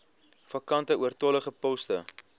vakante oortollige poste